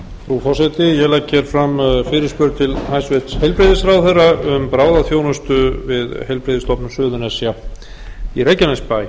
frú forseti ég legg fram fyrirspurn til hæstvirts heilbrigðisráðherra um bráðaþjónustu við heilbrigðisstofnun suðurnesja í reykjanesbæ